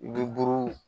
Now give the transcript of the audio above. Lu buruw